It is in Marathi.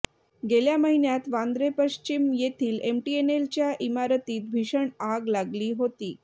गेल्या महिन्यात वांद्रे पश्चिम येथील एमटीएनलच्या इमारतीत भीषण आग लागली होती